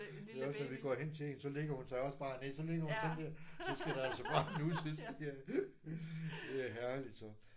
Ved os når vi går hen til hende så lægger hun sig også bare ned så ligger hun sådan der så skal der altså også bare nusses. Ja det er herligt sådan